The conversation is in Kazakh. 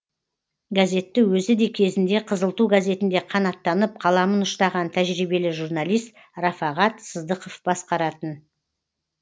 газетті өзі де кезінде қызыл ту газетінде қанаттанып қаламын ұштаған тәжірбиелі журналист рафағат сыздықов басқаратын